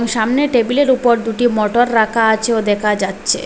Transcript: সামনে টেবিলের উপর দুটি মোটর রাখা আছে ও দেখা যাচ্ছে।